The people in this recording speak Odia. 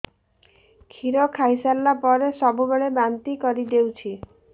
କ୍ଷୀର ଖାଇସାରିଲା ପରେ ସବୁବେଳେ ବାନ୍ତି କରିଦେଉଛି